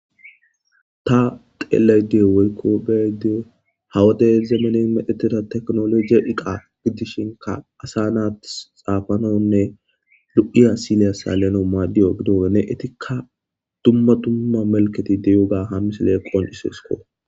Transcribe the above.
ta teelayda woykko be'adeo hawadey zemene medheteda teknologi iqa gidishinka asa naattis xaafanonne lu7iya sileya saleno maaddiyo gidoene etikka dumma dumma melketi deyuga ham misile qoncisesko